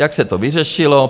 Jak se to vyřešilo?